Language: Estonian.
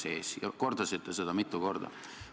Te kordasite seda mitu korda.